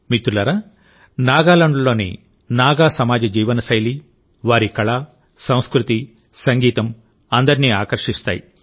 మిత్రులారానాగాలాండ్లోని నాగా సమాజ జీవనశైలి వారి కళ సంస్కృతి సంగీతంఅందరినీ ఆకర్షిస్తాయి